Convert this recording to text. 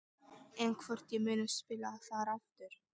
En hvort ég muni spila þar aftur?